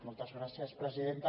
moltes gràcies presidenta